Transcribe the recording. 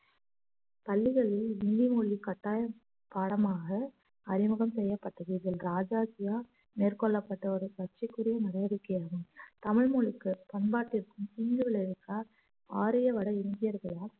பள்ளிகளில் ஹிந்தி மொழி கட்டாயம் பாடமாக அறிமுகம் செய்யப்பட்டது இதில் ராஜாஜியால் மேற்கொள்ளப்பட்ட ஒரு சர்ச்சைக்குரிய நடவடிக்கையாகும் தமிழ் மொழிக்கும் பண்பாட்டிற்கும் தீங்கு விளைவிக்க ஆரிய வடஇந்தியயர்களால்